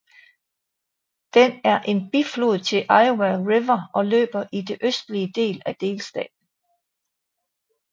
Den er en biflod til Iowa River og løber i den østlige del af delstaten